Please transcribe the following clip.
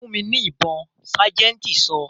"Fún mi ní ibon' sájẹ̀ntì sọ.